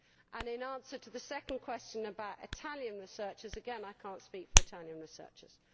In answer to the second question about Italian researchers, again I cannot speak for Italian researchers.